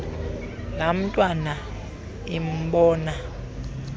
laa ntwana imbona